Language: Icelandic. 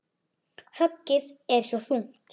Höggið er svo þungt.